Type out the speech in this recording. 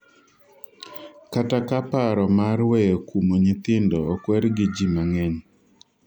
kata ka paro mar weyo kumo nyithindo okwer gi ji mang'eny,